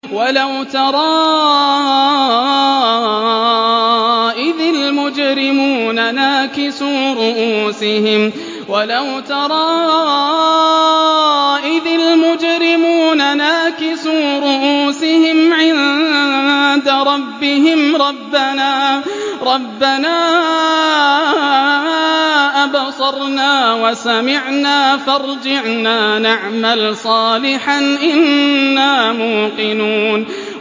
وَلَوْ تَرَىٰ إِذِ الْمُجْرِمُونَ نَاكِسُو رُءُوسِهِمْ عِندَ رَبِّهِمْ رَبَّنَا أَبْصَرْنَا وَسَمِعْنَا فَارْجِعْنَا نَعْمَلْ صَالِحًا إِنَّا مُوقِنُونَ